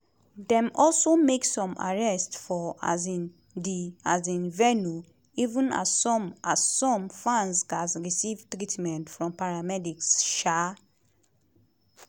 dem also make some arrests for um di um venue even as some as some fans gatz receive treatment from paramedics. um